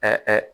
Aa